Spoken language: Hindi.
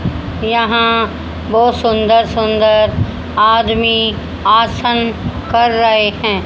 यहां बहोत सुंदर सुंदर आदमी आसान कर रहे हैं।